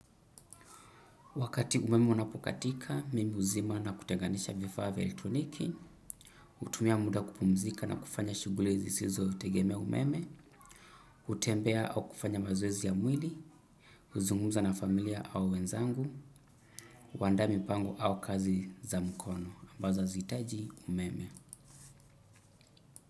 Wakati umeme unapokatika mimi huzima na kutenganisha vifaa vya elektroniki hutumia muda kupumzika na kufanya shughuli zisizo tegemea umeme hutembea au kufanya mazoezi ya mwili huzungumza na familia au wenzangu huandaa mipango au kazi za mkono, ambazo hazihitaji umeme.